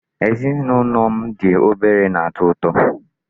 Ezinụlọ m dị obere na-atọ ụtọ.